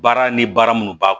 Baara ni baara minnu b'a